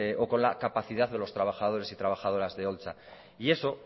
o con la capacidad de los trabajadores y trabajadoras de holtza y eso